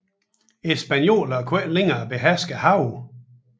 Spaniolerne kunne ikke længere beherske havene